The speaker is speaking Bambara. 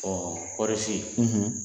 kɔɔrisi